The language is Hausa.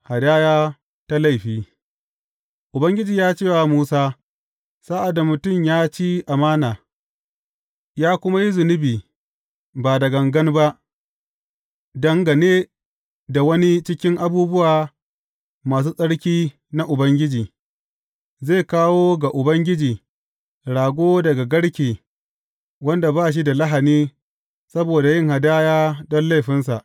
Hadaya ta laifi Ubangiji ya ce wa Musa, Sa’ad da mutum ya ci amana, ya kuma yi zunubi ba da gangan ba dangane da wani cikin abubuwa masu tsarki na Ubangiji, zai kawo ga Ubangiji rago daga garke wanda ba shi da lahani saboda yin hadaya don laifinsa.